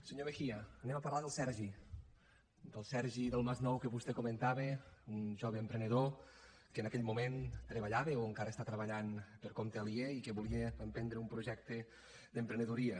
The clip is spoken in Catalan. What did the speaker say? senyor mejía anem a parlar del sergi del sergi del masnou que vostè comentava un jove emprenedor que en aquell moment treballava o encara està treballant per compte aliè i que volia emprendre un projecte d’emprenedoria